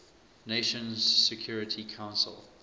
nations security council